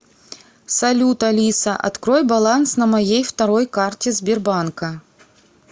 салют алиса открой баланс на моей второй карте сбербанка